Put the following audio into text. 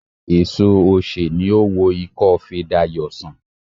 Èso osè ni ó wo ikófe Dayò sàn